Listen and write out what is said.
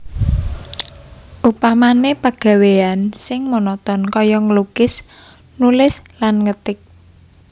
Upamané pegawéyan sing monoton kaya nglukis nulis lan ngetik